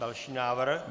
Další návrh?